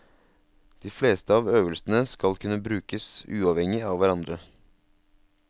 De fleste av øvelsene skal kunne brukes uavhengig av hverandre.